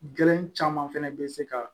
Gɛlɛn caman fɛnɛ bɛ se ka